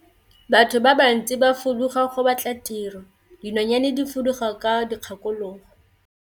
Batho ba bantsi ba fuduga go batla tiro, dinonyane di fuduga ka dikgakologo.